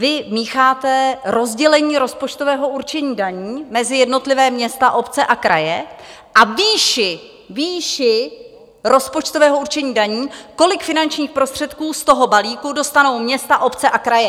Vy mícháte rozdělení rozpočtového určení daní mezi jednotlivá města, obce a kraje a výši rozpočtového určení daní, kolik finančních prostředků z toho balíku dostanou města, obce a kraje.